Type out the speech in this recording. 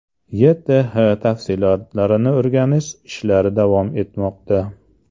YTH tafsilotlarini o‘rganish ishlari davom etmoqda.